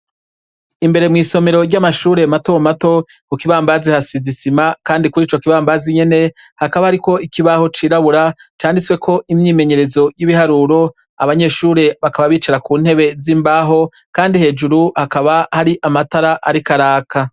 Imbere mwisomero ryamashure matomato kukibambazi hasize isima kandi kurico kibambazi nyene hakaba hariko ikibaho cirabura canditseko imyimenyerezo yibiharuro abanyeshure bakaba bicara kuntebe zimbaho kandi bakaba hari amatara ariko araka